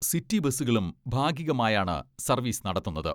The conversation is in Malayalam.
സിറ്റി ബസുകളും ഭാഗികമായാണ് സർവീസ് നടത്തുന്നത്.